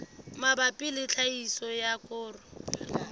mabapi le tlhahiso ya koro